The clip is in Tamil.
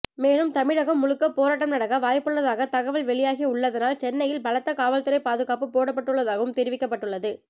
மேலும் தமிழகம் முழுக்க போராட்டம் நடக்க வாய்ப்புள்ளதாக தகவல் வெளியாகி உள்ளதனால் சென்னையில் பலத்த காவல்துறை பாதுகாப்பு போடப்பட்டுள்ளதாகவும் தெரிவிக்கப்பட்டுள்ளது